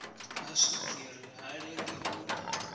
ha swigiri ha lengi u